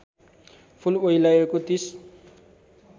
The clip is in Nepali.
फूल ओइलाएको ३०